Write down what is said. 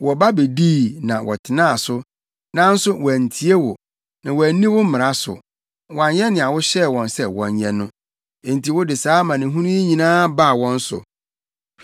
Wɔba bedii, na wɔtenaa so, nanso wɔantie wo, na wɔanni wo mmara so; wɔanyɛ nea wohyɛɛ wɔn sɛ wɔnyɛ no. Enti wode saa amanehunu yi nyinaa baa wɔn so.